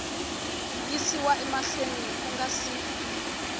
yisiwa mahlweni ku nga si